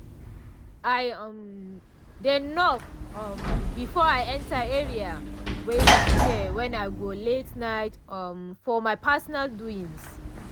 i um dey knock um before i enter area wey we share wen i go late-night um for my personal doings